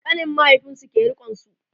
ƙanin mahaifinsu ke rikonsu